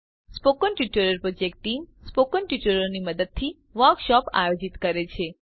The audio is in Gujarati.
spoken tutorial project team spoken ટ્યુટોરિયલોની મદદથી વર્કશોપ આયોજિત કરે છે